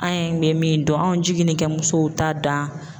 An ye min dɔn, anw jiginin kɛ musow t'a dan.